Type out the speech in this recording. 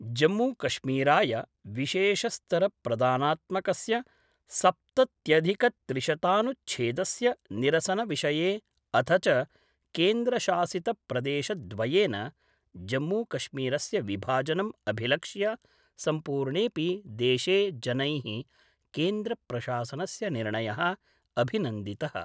जम्मूकश्मीराय विशेषस्तरप्रदानात्मकस्य सप्तत्यधिकत्रिशतानुच्छेस्य निरसनविषये अथ च केन्द्रशासित प्रदेशद्वयेन जम्मूकश्मीरस्य विभाजनम् अभिलक्ष्य सम्पूर्णेपि देशे जनैः केन्द्रप्रशासनस्य निर्णय: अभिनन्दित:।